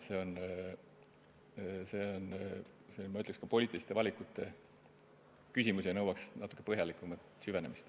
Ma ütleks, et see on poliitiliste valikute küsimus ja nõuab natuke põhjalikumat süvenemist.